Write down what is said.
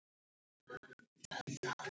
Hvaða svið eru þetta?